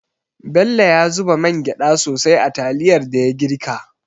Bello ya zuba mangyda sosai a taliyar da ya girka.